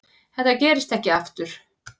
Þetta gerist ekki aftur.